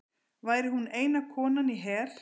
Væri hún eina konan í her